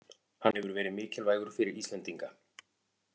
Hann hefur verið mikilvægur fyrir Íslendinga